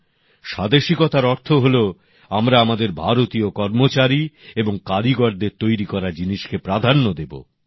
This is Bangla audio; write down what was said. উনি বলতেন স্বাদেশীকতার অর্থ হলো আমরা আমাদের ভারতীয় কর্মচারী এবং কারিগরদের তৈরি করা জিনিসকে প্রাধান্য দেব